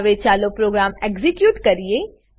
હવે ચાલો program execute કરીએ